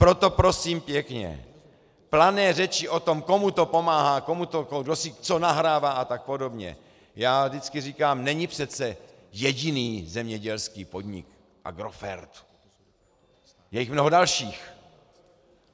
Proto prosím pěkně, plané řeči o tom, komu to pomáhá, kdo si co nahrává a tak podobně - já vždycky říkám: Není přece jediný zemědělský podnik Agrofert, je jich mnoho dalších.